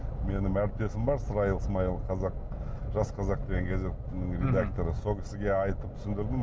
менің әріптесім бар сраил смаил жас қазақ деген гезеттің редакторы сол кісіге айтып түсіндірдім